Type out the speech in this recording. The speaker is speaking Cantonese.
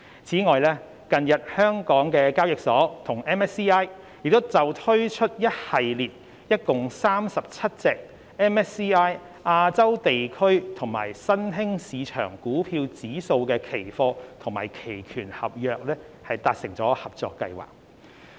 此外，近日港交所與 MSCI 就推出一系列共37隻 MSCI 亞洲地區及新興市場股票指數的期貨及期權合約，達成合作計劃。